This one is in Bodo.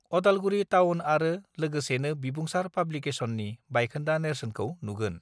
अदालगुरि टाउन आरो लोगोसेनो बिबुंसार पाब्लिसेकसननि बायखोन्दा नेर्सोनखौ नुगोन